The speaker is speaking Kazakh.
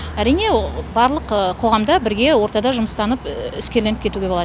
әрине барлық қоғамда бірге ортада жұмыстанып іскерленіп кетуге болады